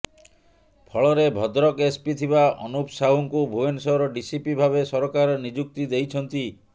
ଫଳରେ ଭଦ୍ରକ ଏସପି ଥିବା ଅନୁପ ସାହୁଙ୍କୁ ଭୁବନେଶ୍ୱର ଡିସିପି ଭାବେ ସରକାର ନିଯୁକ୍ତି ଦେଇଛନ୍ତି